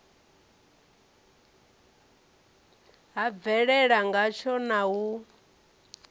ha bvelela ngatsho na u